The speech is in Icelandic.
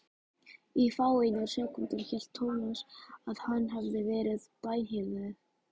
Í fáeinar sekúndur hélt Thomas að hann hefði verið bænheyrður.